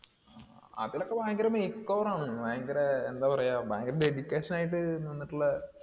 അതിലൊക്കെ ഭയങ്കര makeover ആണെന്ന്. ഭയങ്കര എന്താ പറയാ ഭയങ്കര dedication ആയിട്ട് നിന്നിട്ടുള്ള